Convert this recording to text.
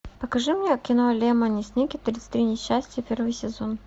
покажи мне кино лемони сникет тридцать три несчастья первый сезон